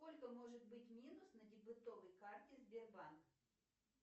сколько может быть минус на дебетовой карте сбербанка